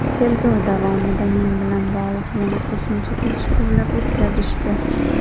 Tergov davomida men bilan bog‘liq yana qo‘shimcha tekshiruvlar o‘tkazishdi.